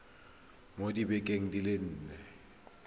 mo dibekeng di le nne